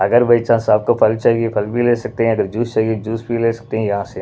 अगर by -chance आपको फल चाहिए फल भी ले सकते हैंअगर जूस चाहिए जूस भी ले सकते हैं यहाँ से--